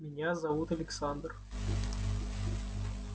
меня зовут александр